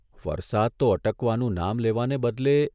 વરસાદ તો અટકવાનું નામ લેવાને બદલે વધુ